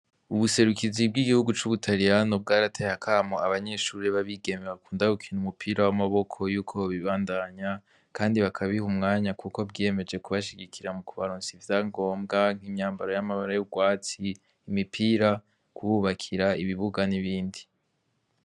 Ubuserukizi bw'igihugu c'Ubutariyano bwarateye akamo abanyeshure b'abigeme bakunda gukina umupira w'amaboko yuko bobibandanya kandi bakabiha umwanya kuko bwiyemeje kubashigikira mu kubaronsa ivyangombwa nk'imyambaro y'amabara y'urwatsi, imipira, kububakira ibibuga n'ibindi.